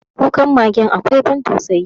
Kukan magen akwai ban tausayi.